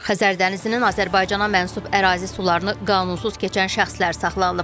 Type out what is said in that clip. Xəzər dənizinin Azərbaycana məxsus ərazi sularını qanunsuz keçən şəxslər saxlanılıb.